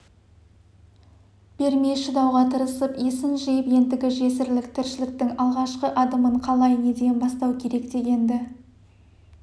бермей шыдауға тырысып есін жиып ендігі жесірлік тіршіліктің алғашқы адымын қалай неден бастау керек дегенді